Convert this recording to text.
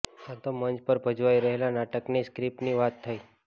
આ તો મંચ પર ભજવાઇ રહેલા નાટકની સ્ક્રીપ્ટની વાત થઇ